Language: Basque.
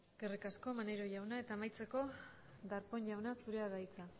eskerrik asko maneiro jauna eta amaitzeko darpón jauna zurea da hitza